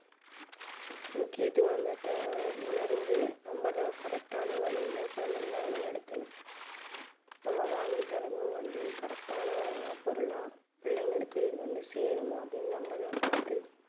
முக்கியத்துவத்தை உணர்ந்து நம்ம தான் correct ஆன வழியில குழந்தைகளை வழி நடத்தணும் நம்ம வாங்கி தர்றதும் வந்து correct ஆன பொருளா பிள்ளைங்களுக்கு இது வந்து சேருமா அப்படின்னு நம்ம தான் பார்த்து